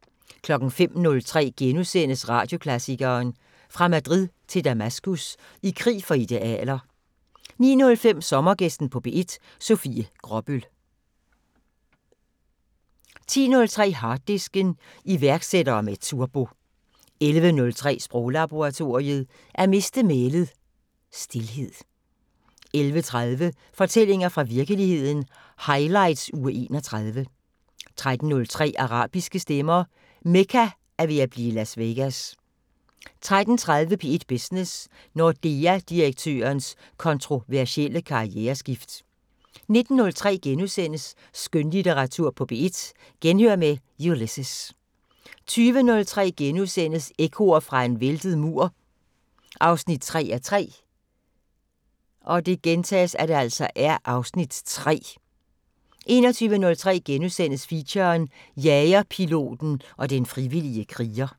05:03: Radioklassikeren: Fra Madrid til Damaskus – I krig for idealer * 09:05: Sommergæsten på P1: Sofie Gråbøl 10:03: Harddisken: Iværksættere med turbo 11:03: Sproglaboratoriet: At miste mælet – Stilhed 11:30: Fortællinger fra virkeligheden – highlights uge 31 13:03: Arabiske stemmer: Mekka er ved at blive Las Vegas 13:30: P1 Business: Nordea-direktørens kontroversielle karriereskift 19:03: Skønlitteratur på P1: Genhør med Ulysses * 20:03: Ekkoer fra en væltet mur 3:3 (Afs. 3)* 21:03: Feature: Jagerpiloten og den frivillige kriger *